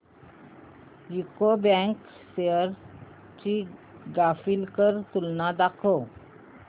UCO bank shares ची graphical तुलना दाखव